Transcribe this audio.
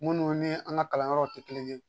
Minnu ni an ka kalan yɔrɔw tɛ kelen ye.